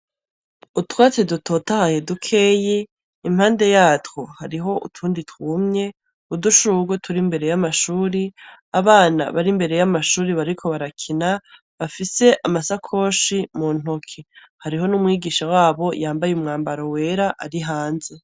Utwatsi dutotahaye dukeyi impande yatwo hariho utundi twumye udushugwe tur’imbere y'amashuri , abana bar’imbere y'amashuri bariko barakina bafise amasakoshi mu ntoki, hariho n'umwigisha wabo yambaye umwambaro wera ari hanze.